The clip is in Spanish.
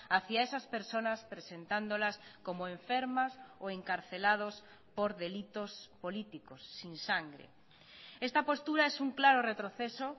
hacia esas personas presentándolas como enfermas o encarcelados por delitos políticos sin sangre esta postura es un claro retroceso